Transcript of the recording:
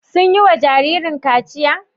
Sun yiwa jinjirin kaciya?